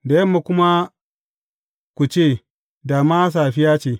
Da yamma kuma ku ce, Da ma safiya ce!